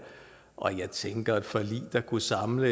og jeg tænker at et forlig der kunne samle